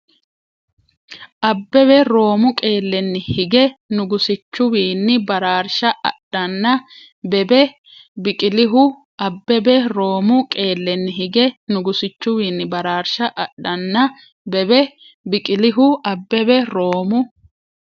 Abbebe Roomu qeellenni hige nugusichuwiinni baraarsha adhanna bebe Biqilihu Abbebe Roomu qeellenni hige nugusichuwiinni baraarsha adhanna bebe Biqilihu Abbebe Roomu.